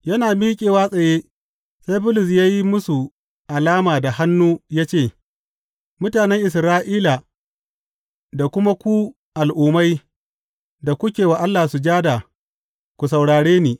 Yana miƙewa tsaye, sai Bulus ya yi musu alama da hannu ya ce, Mutanen Isra’ila da kuma ku Al’ummai da kuke wa Allah sujada, ku saurare ni!